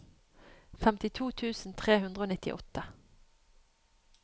femtito tusen tre hundre og nittiåtte